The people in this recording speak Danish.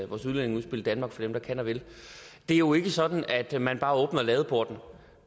vores udlændingeudspil danmark for dem der kan og vil det er jo ikke sådan at man bare åbner ladeporten